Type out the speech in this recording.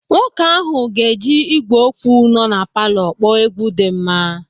Nwoke ahụ ga-eji ị́gwè okwu nọ na palọ kpọọ egwu dị mma.